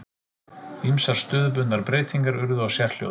Ýmsar stöðubundnar breytingar urðu á sérhljóðum.